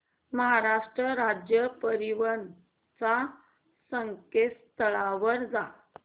महाराष्ट्र राज्य परिवहन च्या संकेतस्थळावर जा